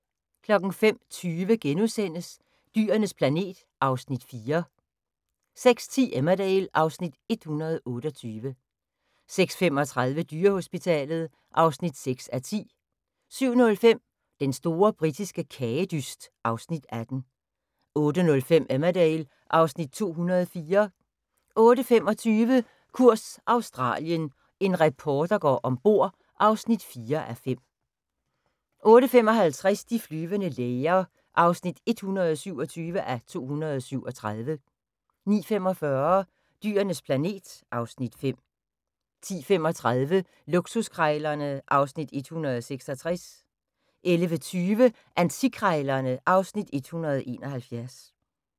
05:20: Dyrenes planet (Afs. 4)* 06:10: Emmerdale (Afs. 128) 06:35: Dyrehospitalet (6:10) 07:05: Den store britiske kagedyst (Afs. 18) 08:05: Emmerdale (Afs. 204) 08:25: Kurs Australien – en reporter går ombord (4:5) 08:55: De flyvende læger (127:237) 09:45: Dyrenes planet (Afs. 5) 10:35: Luksuskrejlerne (Afs. 166) 11:20: Antikkrejlerne (Afs. 171)